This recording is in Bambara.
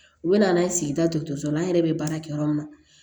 U bɛna n'an ye sigida dɔgɔtɔrɔso la an yɛrɛ bɛ baara kɛ yɔrɔ min na